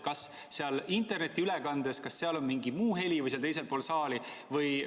Kas seal internetiülekandes on mingi muu heli või seal teisel pool saali?